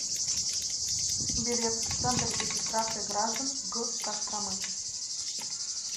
билет центр регистрации граждан г костромы